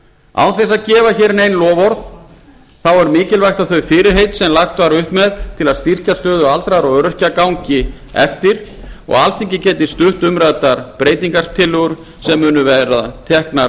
þess að gefa hér nein loforð er mikilvægt að þau fyrirheit sem lagt var upp með til að styrkja stöðu aldraðra og öryrkja gangi eftir og alþingi geti stutt umræddar breytingartillögur sem verða teknar